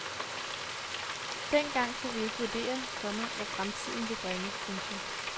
Dengang kunne vi ikke vurdere, komma hvad fremtiden ville bringe. punktum